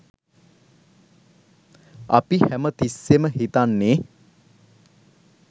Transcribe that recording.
අපි හැමතිස්සෙම හිතන්නේ